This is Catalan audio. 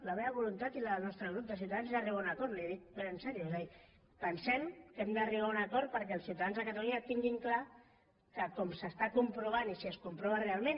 la meva voluntat i la del nostre grup de ciutadans és arribar a un acord li ho dic ben seriosament és a dir pensem que hem d’arribar a un acord perquè els ciutadans de catalunya tinguin clar que com s’està comprovant i si es comprova realment